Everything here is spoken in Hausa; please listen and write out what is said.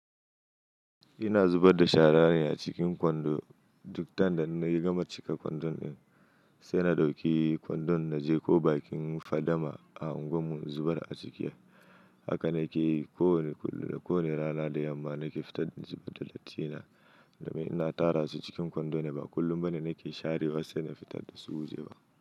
Ina zubar da sharane a cikin kwando. Duk time da na gama cika kwandon in, sai na ɗauki kwandon na je ko bakin fadama a unguwar mu in zubar a ciki. Haka na ke yi kowane kullum da kowane rana da yamma na ke fitar da zubar da dattin na, domin ina tara su cikin kwando ne ba. Kullum bane na ke share wasse na fitar da su waje ba.